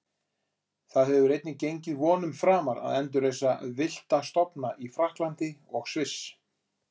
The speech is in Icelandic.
Það hefur einnig gengið vonum framar að endurreisa villta stofna í Frakklandi og Sviss.